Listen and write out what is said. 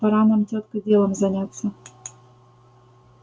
пора нам тётка делом заняться